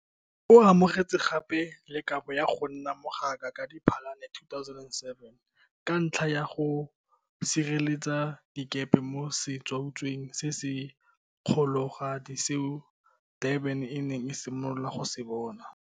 O amogetse gape le kabo ya go nna mogaka ka Diphalane 2017, ka ntlha ya go sireletsa dikepe mo setsuatsueng se se kgologadi seo Durban e neng e simolola go se bona.